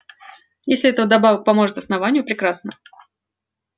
если это вдобавок поможет основанию прекрасно